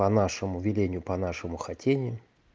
по нашему велению по нашему хотению